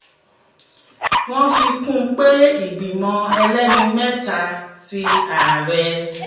wọ́n fi kún un un pé ìgbìmọ̀ ẹlẹ́ni mẹ́ta ti ààrẹ